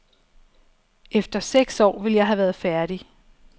Efter seks år ville jeg have været færdig.